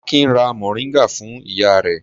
Akin ra mòríngà fún ìyá rẹ̀.